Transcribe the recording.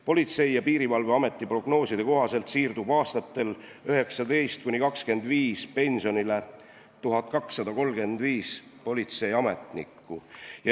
Politsei- ja Piirivalveameti prognooside kohaselt siirdub aastatel 2019–2025 pensionile 1235 politseiametnikku.